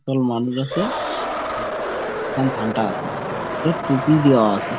একদল মানুষ আছে আ আর ঘন্টা আছে মানুষদের টুপি দেয়া আছে।